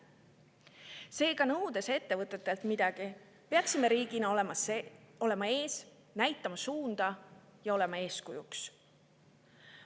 Seega, nõudes ettevõtetelt midagi, peaksime riigina näitama suunda ja olema eeskujuks.